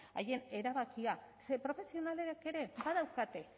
haien erabakia ze profesionalek ere badaukate